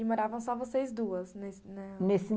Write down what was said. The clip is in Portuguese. E moravam só vocês duas, nesse na